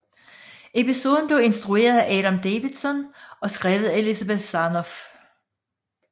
Episoden blev instrueret af Adam Davidson og skrevet af Elizabeth Sarnoff